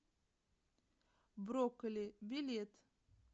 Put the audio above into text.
брокколи билет